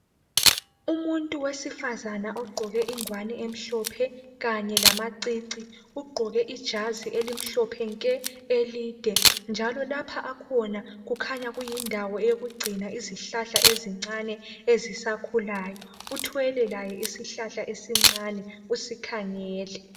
Umuntu wesifazana ogqoke ingwani emhlophe kanye lamacici ugqoke ijazi elimhlophe nke elide njalo lapho akhona kukhanya kuyindawo yokugcina izihlahla ezincane ezisakhulayo. Uthwele laye isihlahla esincane usikhangele.